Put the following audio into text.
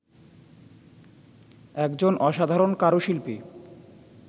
একজন অসাধারণ কারুশিল্পী